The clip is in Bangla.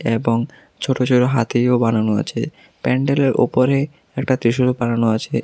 এবং ছোট ছোট হাতিও বানানো আছে প্যান্ডেল -এর ওপরে একটা ত্রিশূলও বানানো আছে এ--